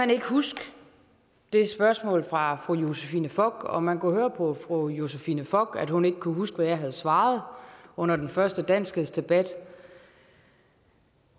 ikke huske det spørgsmål fra fru josephine fock og man kunne høre på fru josephine fock at hun ikke kunne huske hvad jeg havde svaret under den første danskhedsdebat